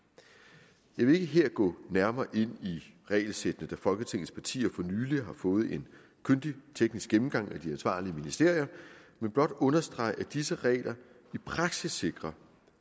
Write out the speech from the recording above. jeg vil ikke her gå nærmere ind på regelsættene da folketingets partier for nylig har fået en kyndig teknisk gennemgang af de ansvarlige ministerier men blot understrege at disse regler i praksis sikrer